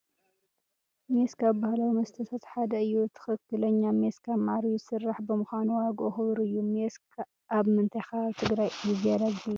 ሜስ ካብ ባህላዊ መስተታት ሓደ እዩ፡ ትኽኽለኛ ሜስ ካብ መዓር እዩ ዝስራሕ፡፡ ብምዃኑ ዋግኡ ክቡር እዩ፡፡ ሜስ ኣብ ምንታይ ከባቢ ትግራይ እዩ ዝያዳ ዝፍለጥ?